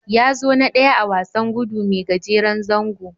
Ya zo na ɗaya a wasan gudu mai gajeren zango.